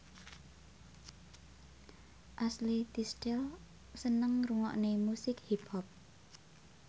Ashley Tisdale seneng ngrungokne musik hip hop